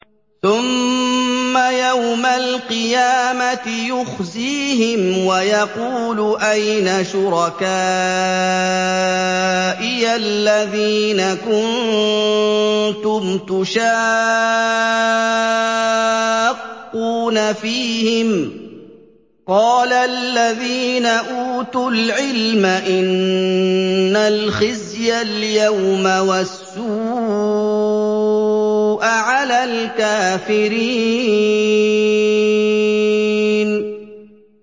ثُمَّ يَوْمَ الْقِيَامَةِ يُخْزِيهِمْ وَيَقُولُ أَيْنَ شُرَكَائِيَ الَّذِينَ كُنتُمْ تُشَاقُّونَ فِيهِمْ ۚ قَالَ الَّذِينَ أُوتُوا الْعِلْمَ إِنَّ الْخِزْيَ الْيَوْمَ وَالسُّوءَ عَلَى الْكَافِرِينَ